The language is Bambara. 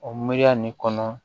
O miiriya nin kɔnɔ